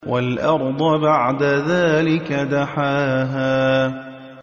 وَالْأَرْضَ بَعْدَ ذَٰلِكَ دَحَاهَا